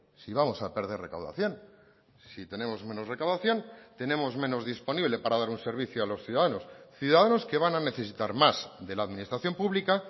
si vamos a perder recaudación si tenemos menos recaudación tenemos menos disponible para dar un servicio a los ciudadanos ciudadanos que van a necesitar más de la administración pública